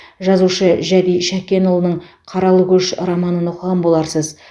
жазушы жәди шәкенұлының қаралы көш романын оқыған боларсыз